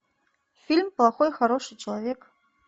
фильм плохой хороший человек